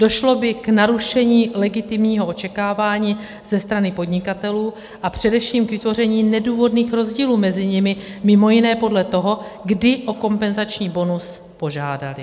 Došlo by k narušení legitimního očekávání ze strany podnikatelů a především k vytvoření nedůvodných rozdílů mezi nimi, mimo jiné podle toho, kdy o kompenzační bonus požádali.